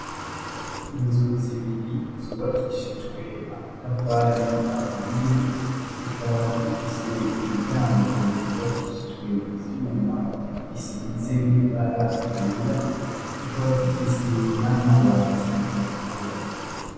Inzu zibiri zubakishijwe amatafari ahiye, zikaba zifise imiryango yubakishijwe ivyuma bisize ibara ryera, zikaba zifise n'amabati atukura.